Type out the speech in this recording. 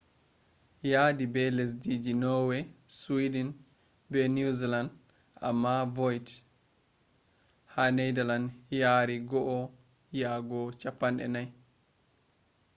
yadi be lesdiji norway sweden be new zealand amma void ha netherland yari 1 to 40